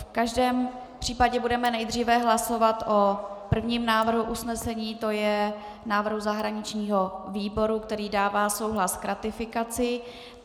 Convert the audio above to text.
V každém případě budeme nejdřív hlasovat o prvním návrhu usnesení, to je návrhu zahraničního výboru, který dává souhlas k ratifikaci.